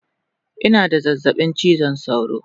Ina da zazzabin chizon sauro